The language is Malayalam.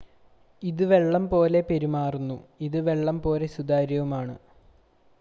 ഇത് വെള്ളം പോലെ പെരുമാറുന്നു ഇത് വെള്ളം പോലെ സുതാര്യവുമാണ്